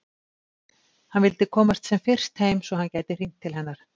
Hann vildi komast sem fyrst heim svo að hann gæti hringt til hennar.